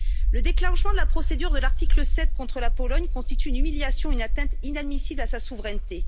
Le déclenchement de la procédure de l'article 7 contre la Pologne constitue une humiliation, une atteinte inadmissible à sa souveraineté.